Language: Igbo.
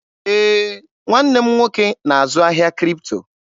Ee, nwanne m nwoke na-azụ ahịa Kripto.